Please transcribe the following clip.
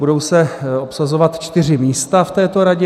Budou se obsazovat čtyři místa v této radě